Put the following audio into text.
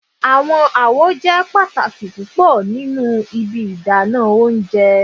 Awọn awo jẹ pataki pupọ ninu Ibi idana ounjẹ